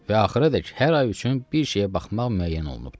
Və axıradək hər ay üçün bir şeyə baxmaq müəyyən olunubdur.